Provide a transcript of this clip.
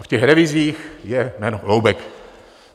A v těch revizích je jméno Holoubek.